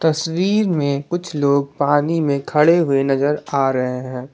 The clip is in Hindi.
तस्वीर में कुछ लोग पानी में खड़े हुए नजर आ रहे हैं।